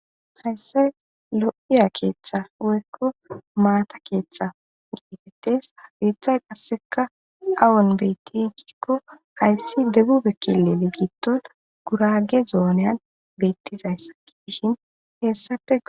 Hayissan lo"iza keeththay woyikko maatta keththa beetes haysikka awan betti gikko debube kililen gurage zonen bettizayssakko hesapekka